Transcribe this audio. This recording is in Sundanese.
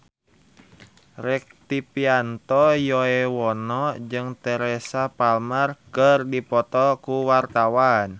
Rektivianto Yoewono jeung Teresa Palmer keur dipoto ku wartawan